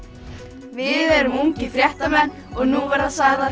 við erum ungir fréttamenn og nú verða sagðar